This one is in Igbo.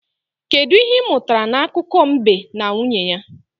Kedụ ihe ị mụtara n'akụkọ mbe na nwunye ya?